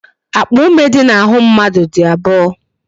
Akpa ume dị n'ahụ mmadụ dị abụọ